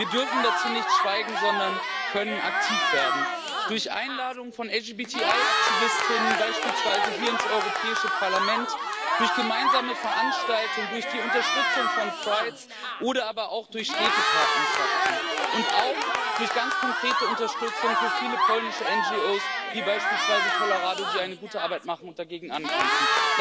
Wir dürfen dazu nicht schweigen, sondern können aktiv werden, durch Einladungen von LGBTI Aktivistinnen und —Aktivisten beispielsweise hier ins Europäische Parlament, durch gemeinsame Veranstaltungen, durch die Unterstützung von prides oder aber auch durch Städtepartnerschaften und auch durch ganz konkrete Unterstützung für viele polnische NGOs wie beispielsweise Tolerado, die eine gute Arbeit machen und dagegen ankämpfen.